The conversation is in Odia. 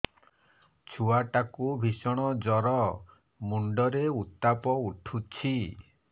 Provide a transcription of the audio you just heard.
ଛୁଆ ଟା କୁ ଭିଷଣ ଜର ମୁଣ୍ଡ ରେ ଉତ୍ତାପ ଉଠୁଛି